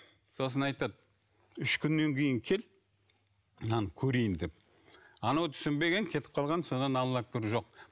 сосын айтады үш күннен кейін кел мынаны көрейін деп анау түсінбеген кетіп қалған содан аллах әкбар жоқ